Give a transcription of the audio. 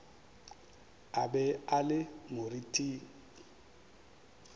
a be a le moriting